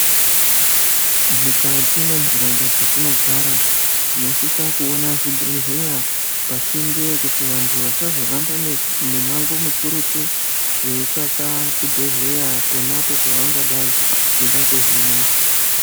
Mukati mwenharaunda dzetinogara, tinosisa kuona zvibhedhleya pasinde yekuti vanhu vasazohamba mimango mikurutu veitsvaka chibhedhleya ponapo pavangada kuhinwa.